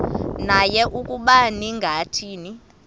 naye ukuba ningathini